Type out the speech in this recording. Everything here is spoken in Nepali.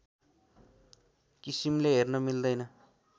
किसिमले हेर्न मिल्दैन